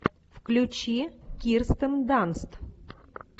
включи кирстен данст